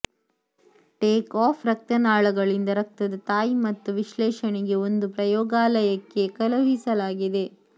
take off ರಕ್ತನಾಳಗಳಿಂದ ರಕ್ತದ ತಾಯಿ ಮತ್ತು ವಿಶ್ಲೇಷಣೆಗೆ ಒಂದು ಪ್ರಯೋಗಾಲಯಕ್ಕೆ ಕಳುಹಿಸಲಾಗಿದೆ